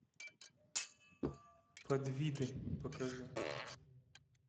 подвиды покажи